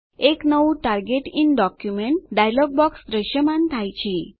એક નવું target in document dialog box દ્રશ્યમાન થાય છે